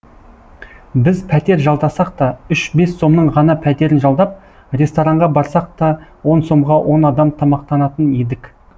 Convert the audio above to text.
біз пәтер жалдасақ та үш бес сомның ғана пәтерін жалдап ресторанға барсақ та он сомға он адам тамақтанатын едік